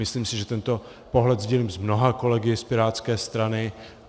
Myslím si, že tento pohled sdílím s mnoha kolegy z pirátské strany.